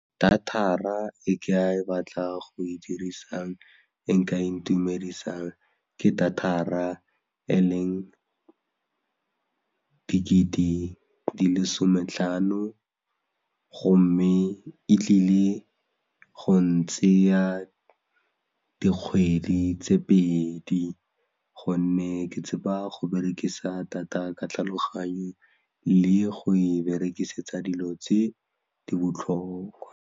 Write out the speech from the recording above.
Data-ra e ke batlang go e dirisang e e ka intumedisang ke data-ra e leng ke dikete di le 'sometlhano gomme e tlile go ntseya dikgwedi tse pedi gonne ke tshepa go berekisa data ka tlhaloganyo le go e berekisetsa dilo tse di botlhokwa.